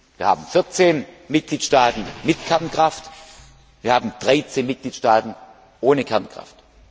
Wir haben 14 Mitgliedstaaten mit Kernkraft, wir haben 13 Mitgliedstaaten ohne Kernkraft.